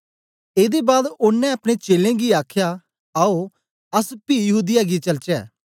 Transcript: एदे बाद ओनें अपने चेलें गी आखया आओ अस पी यहूदीया गी चलचे